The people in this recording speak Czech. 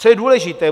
Co je důležité?